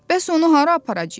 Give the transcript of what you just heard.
Bəs onu hara aparacağıq?